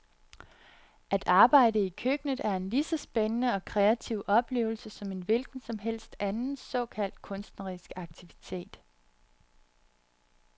At arbejde i køkkenet er en lige så spændende og kreativ oplevelse som en hvilken som helst anden såkaldt kunstnerisk aktivitet.